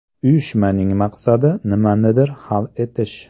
Uyushmaning maqsadi nimanidir hal etish.